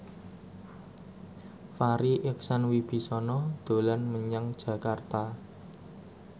Farri Icksan Wibisana dolan menyang Jakarta